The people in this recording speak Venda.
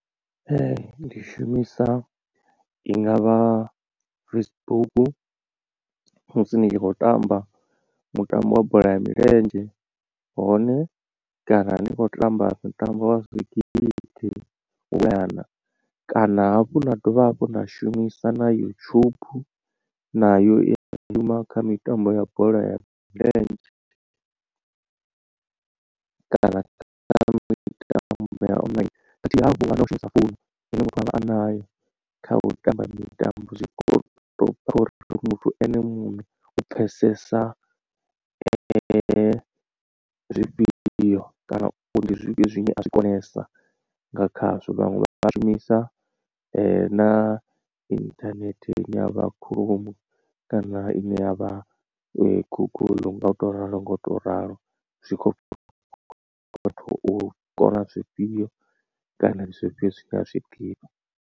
Ndi shumisa i ngavha Facebook musi ni tshi khou tamba mutambo wa bola ya milenzhe hone kana ndi kho tamba mitambo wa zwigidi nyana kana hafhu na dovha hafhu na shumisa na YouTube na yo i ya shuma kha mitambo ya bola ya milenzhe kana online khathihi na u shumisa founu ine muthu avha a nayo kha u tamba mitambo zwi kho to bva khori muthu ene muṋe u pfhesesa zwifhio kana ndi zwifhio zwine a zwi konesa nga khazwo vhaṅwe vha shumisa na inthanethe ine yavha chrome kana ine yavha guguḽu nga u to ralo nga u to ralo zwi khou vhathu u kona zwifhio kana ndi zwifhio zwine a zwiḓivha.